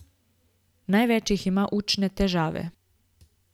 Največ jih ima učne težave.